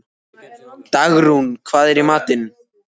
Dagrún, hvað er í matinn?